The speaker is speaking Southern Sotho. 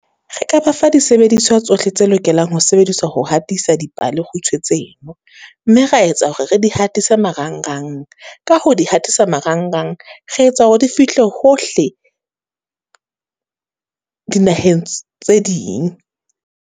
Re ka ba fa disebediswa tsohle tse lokelang ho sebediswa ho hatisa dipalekgutshwe tseno, mme ra etsa hore re di hatisa marangrang. Ka ho di hatisa marangrang, re etsa hore di fihle hohle, dinaheng tse ding.